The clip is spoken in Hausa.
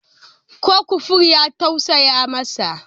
Ko kofur ya tausaya masa?